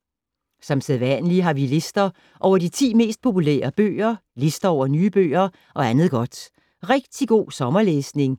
Som sædvanlig har vi lister over de 10 mest populære bøger, lister over nye bøger og andet godt. Rigtig god sommerlæsning